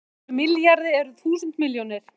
En í einum milljarði eru þúsund milljónir!